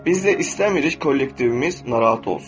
Biz də istəmirik kollektivimiz narahat olsun.